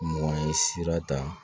Mɔgɔ ye sira ta